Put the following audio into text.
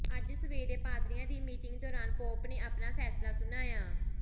ਅੱਜ ਸਵੇਰੇ ਪਾਦਰੀਆਂ ਦੀ ਮੀਟਿੰਗ ਦੌਰਾਨ ਪੋਪ ਨੇ ਆਪਣਾ ਫੈਸਲਾ ਸੁਣਾਇਆ